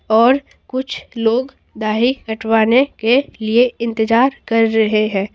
और कुछ लोग दाही कटवाने के लिए इंतजार कर रहे हैं।